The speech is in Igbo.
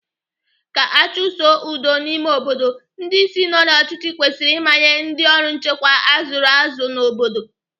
Ka achusoo udo n'ime obodo, ndị isi nọ n'ọchịchị kwesịrị ịmanye ndị ọrụ nchekwa azụrụ azụ n'obodo.